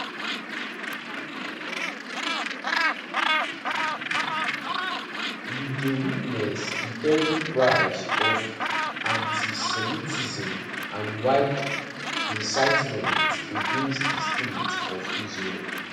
we dey witness di terrible price of antisemitism and wild incitement against di state of israel